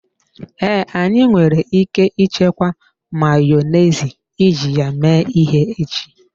Ee, anyị nwere ike ichekwa Mayonezi iji ya mee ihe echi.